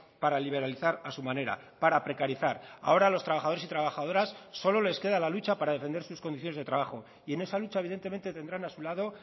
para liberalizar a su manera para precarizar ahora los trabajadores y trabajadoras solo les queda la lucha para defender sus condiciones de trabajo y en esa lucha evidentemente tendrán a su lado